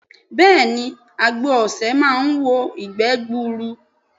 Bẹ́ẹ̀ni àgbo osè máa wo ìgbé gbuuru